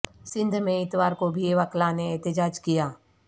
سندھ میں اتوار کو بھی وکلاء نے احتجاج کیا